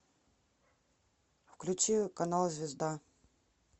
включи канал звезда